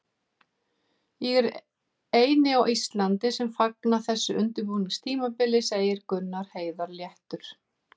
Ég er eini á Íslandi sem fagna þessu undirbúningstímabili, segir Gunnar Heiðar léttur.